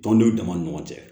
Tɔndenw dama ni ɲɔgɔn cɛ